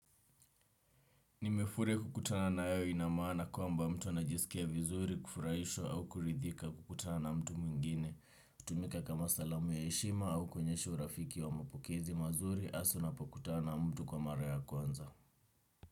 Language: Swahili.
Nimefurahi kukutana na wewe ina maana kwamba mtu anajisikia vizuri, kufurahishwa au kuridhika kukutana na mtu mwingine. Hutumika kama salamu ya heshima au kuonyesha urafiki wa mapokezi mazuri hasa unapokutana na mtu kwa mara ya kwanza.